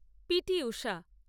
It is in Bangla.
P T Usha